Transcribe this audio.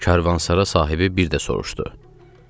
Karvansara sahibi bir də soruşdu: